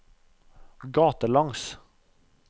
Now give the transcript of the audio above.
gatelangs